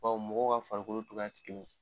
Bawo mɔgɔ ka farikolo togoya ti kelen ye.